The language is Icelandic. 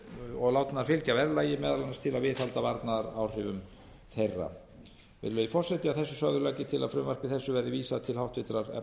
og látnar fylgja verðlagi meðal annars til að viðhalda varnaðaráhrifum þeirra virðulegi forseti að þessu sögðu legg ég til að frumvarpi þessu verði vísað til háttvirtrar efnahags og